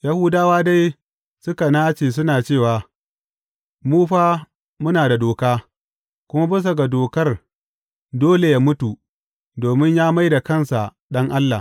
Yahudawa dai suka nace suna cewa, Mu fa muna da doka, kuma bisa ga dokar dole yă mutu domin ya mai da kansa Ɗan Allah.